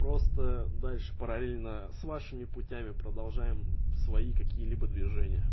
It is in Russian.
просто дальше параллельно с вашими путями продолжаем свои какие-либо движения